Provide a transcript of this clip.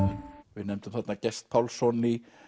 við nefndum þarna Gest Pálsson í